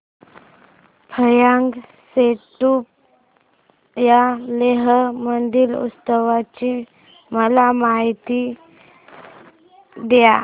फ्यांग सेडुप या लेह मधील उत्सवाची मला माहिती द्या